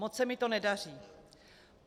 Moc se mi to nedaří.